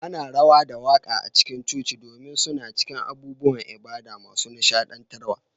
Ana rawa da waƙa a cikin coci domin suna cikin abubuwan ibada masu nishaɗantarwa.